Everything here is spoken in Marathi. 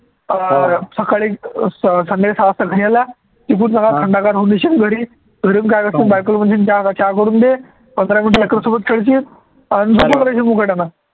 अं सकाळी अं स संध्याकाळी सहा वाजता घरी आला की थंडगार होऊन येशील घरी घरून काय म्हणशील बायकोला म्हणशील जा ग चहा करून दे, पंधरा minutes लेकरूसोबत खेळशील आणि झोपून राहशील मुकाट्यानं